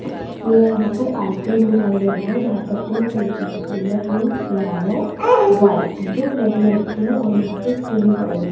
ये यहां पर आइसक्रीम दिखाई दे रही है जहां पर तीन कलर की आइसक्रीम है पिंक यलो व्हाइट जो प्लेट में रखी हैं और यहां पर स्पून पड़े हैं।